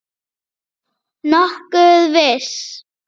Nokkuð viss.